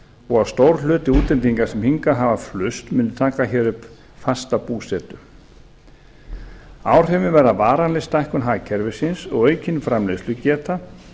og að stór hluti útlendinga sem hingað hafa flust muni taka hér upp fasta búsetu áhrifin verða varanleg stækkun hagkerfisins og aukin framleiðslugeta